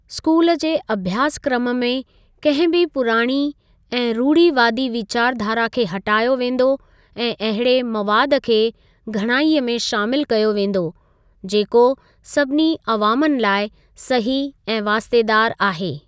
School जे अभ्यासक्रम में कंहिं बि पुराणी ऐं रूढ़ीवादी वीचारधारा खे हटायो वेंदो ऐं अहिड़े मवादु खे घणाईअ में शामिल कयो वेंदो, जेको सभिनी अवामनि लाइ सही ऐं वास्तेदार आहे।